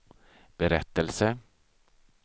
berättelse